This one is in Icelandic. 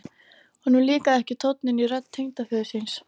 Honum líkaði ekki tónninn í rödd tengdaföður síns.